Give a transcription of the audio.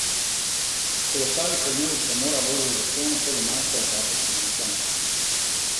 Kolesarji po dnevu premora vozijo zahtevno sedemnajsto etapo s štirimi klanci.